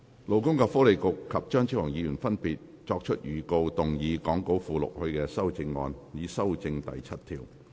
勞工及福利局局長及張超雄議員已分別作出預告，動議講稿附錄他們的修正案，以修正第7條。